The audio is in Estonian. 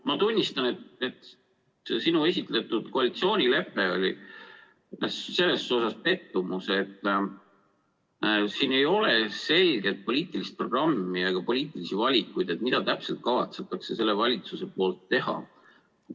Ma tunnistan, et see sinu esitletud koalitsioonilepe on selles mõttes pettumus, et siin ei ole selget poliitilist programmi ega poliitilisi valikuid, mida täpselt kavatseb see valitsus teha.